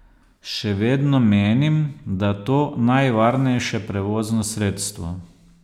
Še vedno menim, da to najvarnejše prevozno sredstvo.